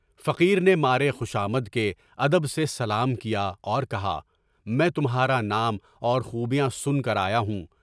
فقیر نے مارے خوشامد کے ادب سے سلام کیا اور کہا، میں تمہارا نام اور خوبیاں سن کر آیا ہوں۔